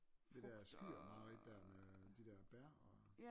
Det dér skyr mareridt dér med de dér bær og